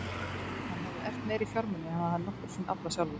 Hann hafði erft meiri fjármuni en hann hafði nokkru sinni aflað sjálfur.